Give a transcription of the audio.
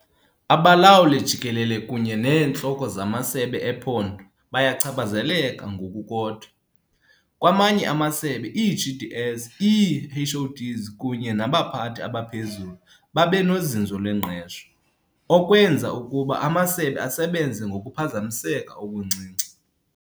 Abalawuli-Jikelele kunye neentloko zamasebe ephondo bayachaphazeleka ngokukodwa. Kwamanye amasebe, ii-DGs, ii-HoDs kunye nabaphathi abaphezulu babe nozinzo lwengqesho, okwenza ukuba amasebe asebenze ngokuphazamiseka okuncinci.